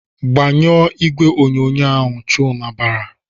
"Gbanyụọ igwe onyonyo ahụ!" Chuma bara.